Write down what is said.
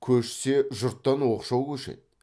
көшсе жұрттан оқшау көшеді